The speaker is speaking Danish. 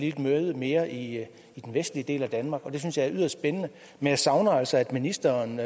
et møde mere i den vestlige del af danmark det synes jeg er yderst spændende men jeg savner altså at ministeren